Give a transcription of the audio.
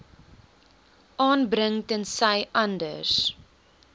aanbring tensy anders